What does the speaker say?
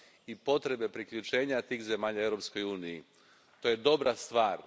i potrebe priključenja tih zemalja Europskoj uniji. To je dobra stvar.